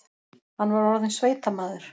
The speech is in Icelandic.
Hann var orðinn sveitamaður.